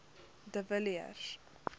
de villiers